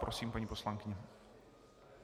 Prosím, paní poslankyně.